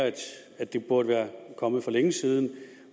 at det burde være kommet for længe siden